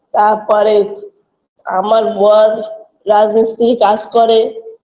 তারপরে আমার বর রাজমিস্ত্রি কাজ করে